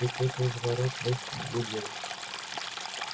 и тут из ворот вышли две девушки